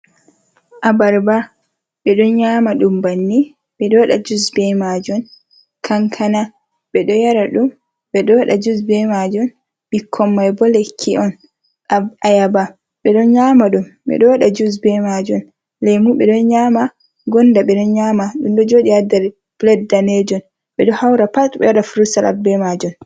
Abarba be do nyama dum banni bedo wada jus be majum kankana be do yara dum bedowada jus be majun bikkoimai boleki’on ayaba bedon nyama dum bedo wada jus ba majun lemu be don nyama gonda be don nyama dum do jodi ha der blanda danejum bedo haura pat be wada frusalat be majun.